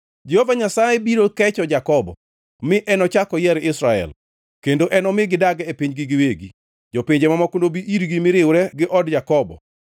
Jehova Nyasaye biro kecho Jakobo mi enochak oyier Israel, kendo enomi gidag e pinygi giwegi. Jopinje mamoko nobi irgi mi riwre gi od Jakobo.